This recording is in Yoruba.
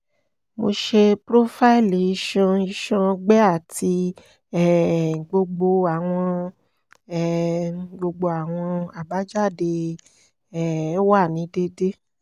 mo ṣe profaili iṣan iṣan ọgbẹ ati um gbogbo awọn um gbogbo awọn abajade um wa ni deede